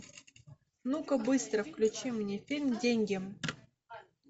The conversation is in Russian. ну ка быстро включи мне фильм деньги